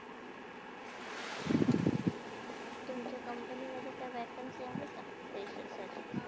अर तुमच्या company मधे vacancy आहे-का fresher साठी?